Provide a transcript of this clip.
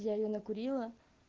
я её накурила